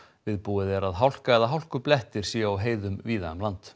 viðbúið er að hálka eða hálkublettir séu á heiðum víða um land